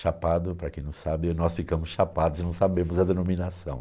Chapado, para quem não sabe, nós ficamos chapados e não sabemos a denominação.